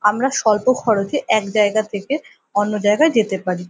আমরা স্বল্প খরচে এক জায়গা থেকে অন্য জায়গায় যেতে পারি।